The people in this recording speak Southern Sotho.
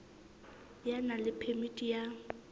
ya nang le phemiti ya